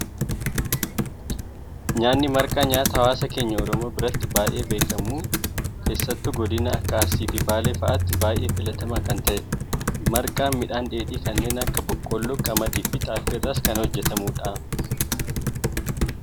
Nyaanni marqaa, nyaata hawaasa keenya Oromoo biratti baayyee beekamu keessattuu godinoota akka arsii fi baalee fa'aatti baayyee filatamaa kan ta'edha. Marqaan midhaan dheedhii kanneen akka boqolloo, qamadii fi xaafii irraas kan hojjetamudha.